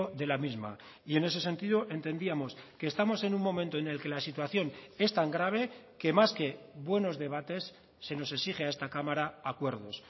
de la misma y en ese sentido entendíamos que estamos en un momento en el que la situación es tan grave que más que buenos debates se nos exige a esta cámara acuerdos